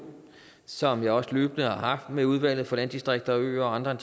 som jeg også løbende har haft med udvalget for landdistrikter og øer og andre